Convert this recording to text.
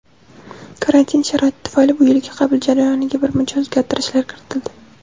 Karantin sharoiti tufayli bu yilgi qabul jarayoniga birmuncha o‘zgartirishlar kiritildi.